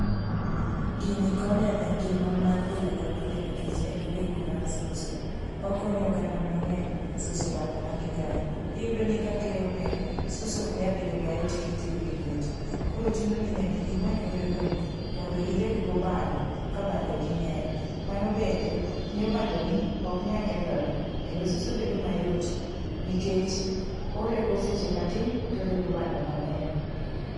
Gini konyo engima mar pile kapile nikech en orego mar suso. Okonyo oganda mang'eny suso bando magi kayo. Iyudoni kakeyo ng'eny suso ok nya bedo mayot kitiyogi lweti. Koro chunoni nyaka imany oregoni mondo ireggo bando kabandogi ng'eny mano bende miyo bandoni oknyal kethore kendo suso bedo mayot nikech orego seche matin torego bando mang'eny.